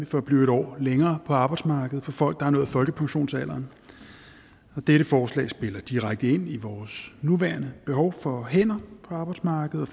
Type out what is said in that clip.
for at blive en år længere på arbejdsmarkedet for folk der har nået folkepensionsalderen dette forslag spiller direkte ind i vores nuværende behov for hænder på arbejdsmarkedet